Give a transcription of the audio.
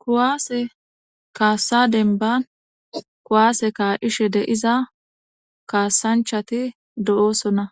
Kuwaase kaassa denban kuwaase kaa7ishe deiza kaassanchati do7oosona